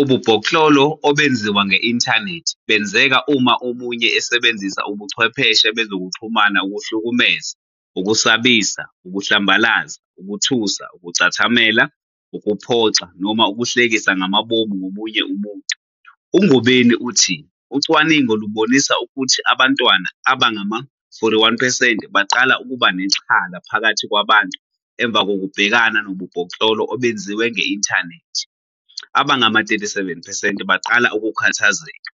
Ububhoklolo obenziwa nge-inthanethi benzeka uma omunye esebenzisa ubuchwepheshe bezokuxhumana ukuhlukumeza, ukusabisa, ukuhlambalaza, ukuthusa, ukucathamela, ukuphoxa noma ukuhlekisa ngamabomu ngomunye umuntu. UNgobeni uthi ucwaningo lubonisa ukuthi abantwana abangama-41 percent baqala ukuba nexhala phakathi kwabantu emva kokubhekana nobubhoklolo obenziwa nge-inthanethi, abangama-37 percent baqala ukukhathazeka,